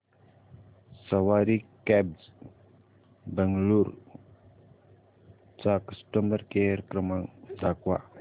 सवारी cabs Bengaluru चा customer care क्रमांक दाखवा